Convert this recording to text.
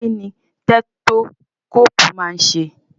Kí ni tẹ́tókóòpù máa ń ṣe?